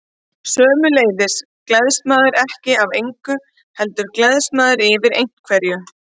Sömuleiðis gleðst maður ekki af engu, heldur gleðst maður yfir einhverju.